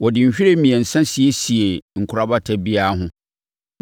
Wɔde nhwiren mmiɛnsa siesiee nkorabata biara ho.